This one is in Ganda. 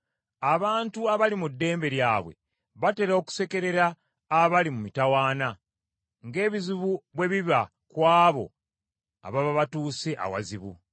Abantu abali mu ddembe lyabwe batera okusekerera abali mu mitawaana, ng’ebizibu bwe biba ku abo ababa batuuse awazibu.